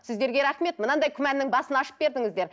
сіздерге рахмет мынандай күмәннің басын ашып бердіңіздер